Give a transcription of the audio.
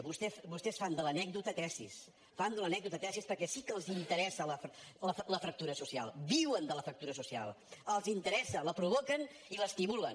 vostès fan de l’anècdota tesi fan de l’anècdota tesi perquè sí que els interessa la fractura social viuen de la fractura social els interessa la provoquen i l’estimulen